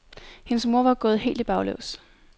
Hendes mor var gået helt i baglås.